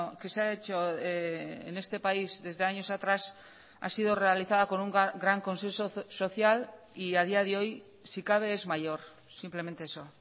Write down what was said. que se ha hecho en este país desde años atrás ha sido realizada con un gran consenso social y a día de hoy si cabe es mayor simplemente eso